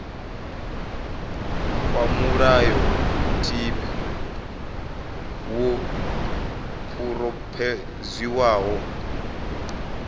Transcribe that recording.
kwa mulayotibe wo phurophoziwaho ku